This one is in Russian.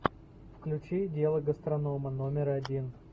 включи дело гастронома номер один